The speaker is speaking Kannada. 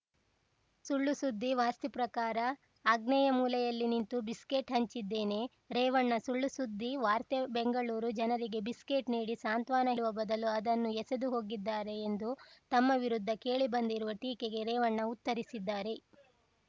ಸುಳ್ಳು ಸುದ್ದಿ ವಾಸ್ತು ಪ್ರಕಾರ ಆಗ್ನೇಯ ಮೂಲೆಯಲ್ಲಿ ನಿಂತು ಬಿಸ್ಕೆಟ್‌ ಹಂಚಿದ್ದೇನೆ ರೇವಣ್ಣ ಸುಳ್ಳುಸುದ್ದಿ ವಾರ್ತೆ ಬೆಂಗಳೂರು ಜನರಿಗೆ ಬಿಸ್ಕೆಟ್‌ ನೀಡಿ ಸಾಂತ್ವನ ಹೇಳುವ ಬದಲು ಅದನ್ನು ಎಸೆದು ಹೋಗಿದ್ದಾರೆ ಎಂದು ತಮ್ಮ ವಿರುದ್ಧ ಕೇಳಿಬಂದಿರುವ ಟೀಕೆಗೆ ರೇವಣ್ಣ ಉತ್ತರಿಸಿದ್ದಾರೆ